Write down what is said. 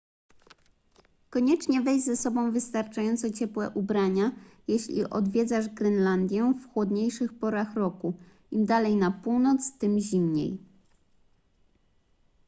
koniecznie weź ze sobą wystarczająco ciepłe ubrania jeśli odwiedzasz grenlandię w chłodniejszych porach roku im dalej na północ tym zimniej